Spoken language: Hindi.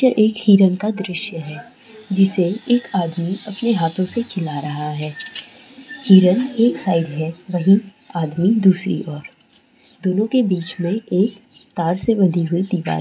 यह एक हिरन का दृश्य है जिसे एक आदमी अपने हाथों से खिला रहा है हिरन एक साइड है वही आधी दूसरी और दोनों के बीच में एक तार से बंधी हुई दीवार--